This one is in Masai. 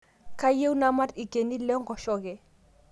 Kayieu namat lkeni lenkosheke